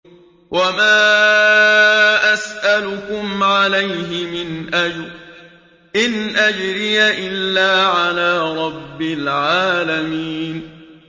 وَمَا أَسْأَلُكُمْ عَلَيْهِ مِنْ أَجْرٍ ۖ إِنْ أَجْرِيَ إِلَّا عَلَىٰ رَبِّ الْعَالَمِينَ